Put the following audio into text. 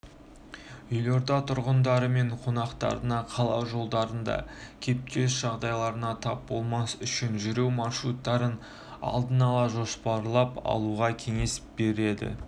елорда тұрғындары мен қонақтарына қала жолдарында кептеліс жағдайларына тап болмас үшін жүру маршруттарын алдын ала жоспарлап алуға кеңес беріледі